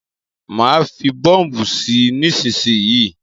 Má fí bọ́ọ̀bù sí nísísíyí.